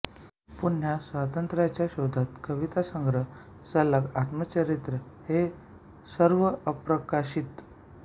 पुन्हा स्वातत्र्याच्या शोधात कविता संग्रह सालाग आत्मचरित्र हे सर्व अप्रकाशित